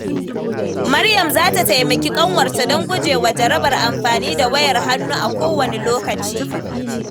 Maryam za ta taimaki ƙanwarta don guje wa jarabar amfani da wayar hannu a kowane lokaci.